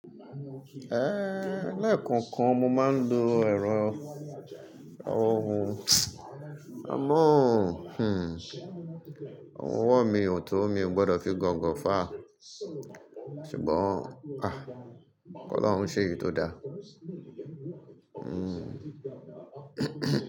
Lẹ́ẹ̀kookan mo máa ń lo ẹ̀rọ ohun, àmọ́ ohun ọwọ́ mi ò tó mi o gbọdọ̀ fi gọ̀ǹgọ̀ fà á. Ṣùgbọ́n, ki Ọlọ́run ṣéyi tó dá.